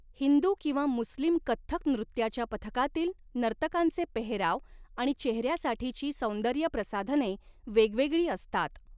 हिंदू किंवा मुस्लिम कथ्थक नृत्याच्या पथकातील नर्तकांचे पेहराव आणि चेहऱ्यासाठीची सौंदर्यप्रसाधने वेगवेगळी असतात.